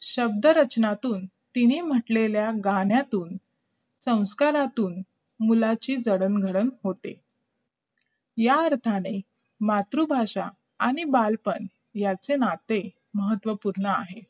शब्दरचनेतून तिने म्हणलेल्या गाण्यातून संस्कारातून मुलाची जडणघडण होते या अर्थाने मातृभाषा आणि बालपण यांचे नाते महत्त्वपूर्ण आहे